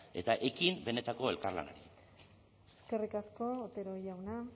eta ekin benetako elkarlanari eskerrik asko otero jauna